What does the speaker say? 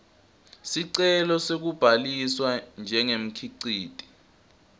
sicelo sekubhaliswa njengemkhiciti